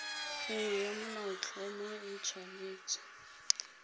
nngwe ya molaotlhomo e tshwanetse